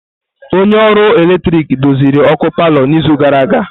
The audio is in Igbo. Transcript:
Onye ọrụ ọkụ eletrik ọ doziri ọkụ palọ n'izu gara aga?